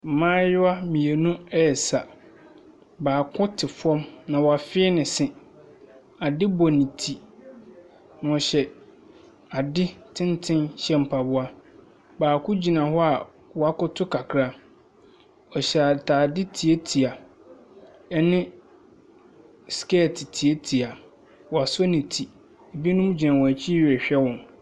Mmaayewa mmienu resa. Baako te fam, na wafee ne nse. Adeɛ bɔ ne ti na ɔhyɛ adeɛ tenten hyɛ mpaboa. Baako gyina hɔ a wɔkota kakra. Ɔhyɛ atadeɛ tiatia ne skirt tiatia. Wasɔ ne ti. Binom gyina wɔn akyi rehwɛ wɔn.